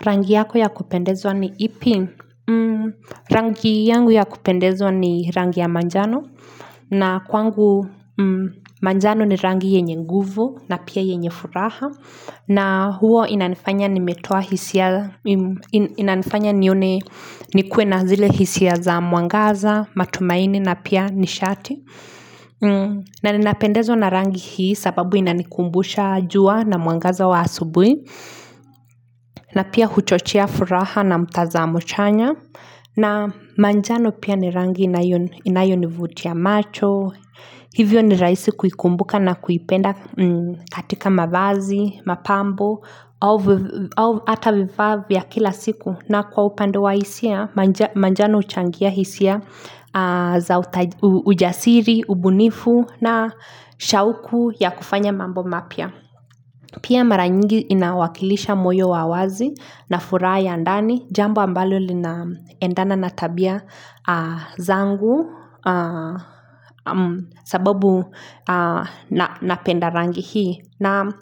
Rangi yako ya kupendezwa ni ipi? Rangi yangu ya kupendezwa ni rangi ya manjano. Na kwangu manjano ni rangi yenye nguvu na pia yenye furaha. Na hua inanifanya nimetoa hisia. Inanifanya nione nikue na zile hisia za mwangaza, matumaini na pia nishati. Na ninapendezwa na rangi hii sababu inanikumbusha jua na mwangaza wa asubuhi. Na pia huchochea furaha na mtazamo chanya na manjano pia ni rangi inayonivutia macho hivyo ni rahisi kuikumbuka na kuipenda katika mavazi, mapambo ata vivaa vya kila siku na kwa upande wa hisia manjano huchangia hisia za ujasiri, ubunifu na shauku ya kufanya mambo mapya Pia mara nyingi inawakilisha moyo wa wazi na furaha ya ndani, jambo ambalo linaendana na tabia zangu sababu napenda rangi hii. Na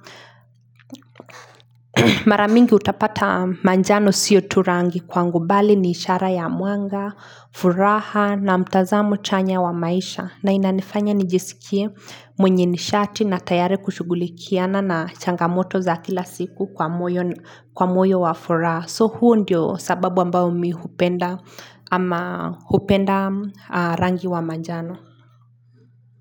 mara mingi utapata manjano sio tu rangi kwangu bali ni ishara ya mwanga, furaha na mtazamo chanya wa maisha. Na inanifanya nijisikie mwenye nishati na tayali kushugulikiana na changamoto za kila siku kwa moyo wa furaha. So huu ndio sababu ambao mi hupenda ama hupenda rangi wa manjano.